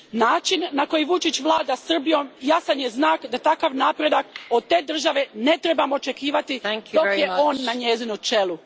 Način na koji Vučić vlada Srbijom jasan je znak da takav napredak od te države ne trebamo očekivati dok je on na njezinu čelu.